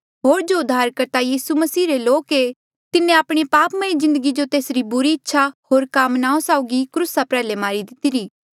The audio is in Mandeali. होर जो उद्धारकर्ता यीसू रे लोक ऐें तिन्हें आपणे पापमय जिन्दगी जो तेसरी बुरी इच्छा होर कामनाओं साउगी क्रूसा प्रयाल्हे मारी दितिरी